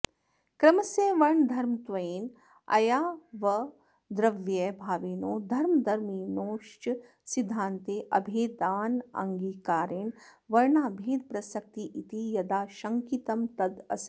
क्रमस्य वर्णधर्मत्वेन अयावद्रव्यभाविनोः धर्मदर्मिणोश्च सिद्धान्ते अभेदानङ्गीकारेण वर्णाभेदप्रसक्तिरिति यदाशङ्कितं तदसत्